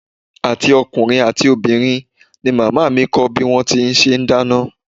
Àti ọkùnrin àti obìnrin ni màmá mi kọ́ bí wón ti ń ṣe dáná.